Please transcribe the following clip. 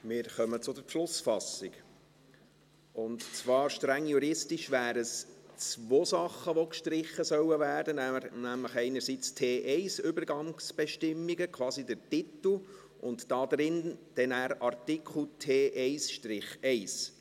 Wir kommen zur Beschlussfassung, und zwar wären es streng juristisch zwei Dinge, die gestrichen werden sollen, nämlich einerseits «T1 Übergangsbestimmungen», quasi der Titel, und dann andererseits der Artikel